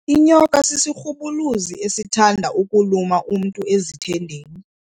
Inyoka sisirhubuluzi esithanda ukuluma umntu ezithendeni.